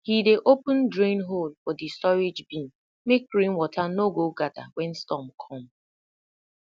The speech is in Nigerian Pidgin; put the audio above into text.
he dey open drain hole for di storage bin make rainwater no go gather when storm come